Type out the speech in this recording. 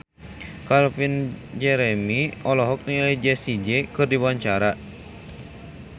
Calvin Jeremy olohok ningali Jessie J keur diwawancara